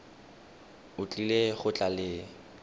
o tlile go tla le